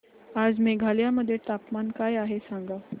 आज मेघालय मध्ये तापमान काय आहे सांगा